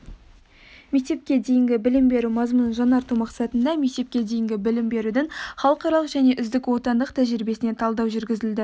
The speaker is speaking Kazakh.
мектепке дейінгі білім беру мазмұнын жаңарту мақсатында мектепке дейінгі білім берудің халықаралық және үздік отандық тәжірибесіне талдау жүргізілді